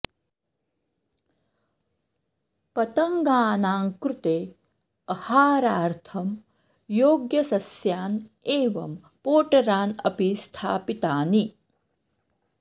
पतङ्गानां कृते अहारार्थं योग्यसस्यान् एवं पोटरान् अपि स्थापितानि